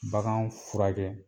Bagan furakɛ.